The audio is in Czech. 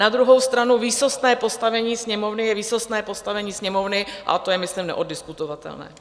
Na druhou stranu výsostné postavení Sněmovny je výsostné postavení Sněmovny, a to je myslím neoddiskutovatelné.